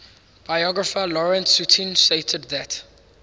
biographer lawrence sutin stated that